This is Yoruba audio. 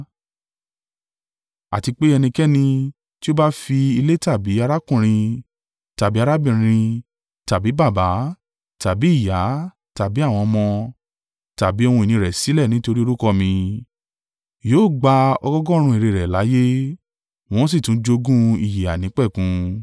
Àti pé ẹnikẹ́ni tí ó bá fi ilé tàbí arákùnrin tàbí arábìnrin tàbí baba tàbí ìyá tàbí àwọn ọmọ, tàbí ohun ìní rẹ̀ sílẹ̀ nítorí orúkọ mí, yóò gba ọgọọgọ́rùn-ún èrè rẹ̀ láyé, wọn ó sì tún jogún ìyè àìnípẹ̀kun.